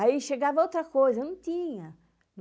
Aí chegava outra coisa, não tinha.